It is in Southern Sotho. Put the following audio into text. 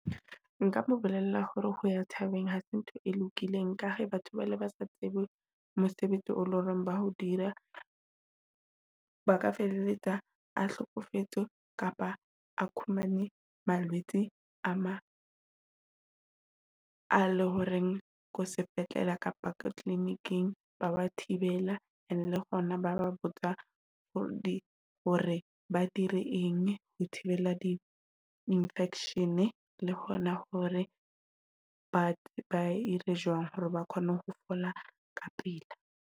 Nka mo bolella hore ho ya thabeng hase ntho e lokileng, ka he batho bale ba sa tsebe mosebetsi o lo reng ba ho dira. Ba ka feleletsa a hlokofetse kapa a humane malwetse a ma a le horeng ko sepetlele kapa clinic-ing ba wa thibela. And le hona ba ba botsa hore hore ba dire eng ho thibela di infection. Le hona hore batho ba ire jwang hore ba kgone ho fola ka pela.